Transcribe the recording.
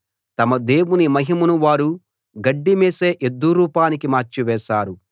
తమ దేవుని మహిమను వారు గడ్డి మేసే ఎద్దు రూపానికి మార్చివేశారు